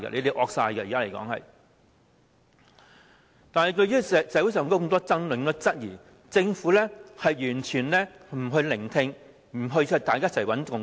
對於社會上出現這麼多爭議和質疑，政府完全不聆聽，不一起建立共識。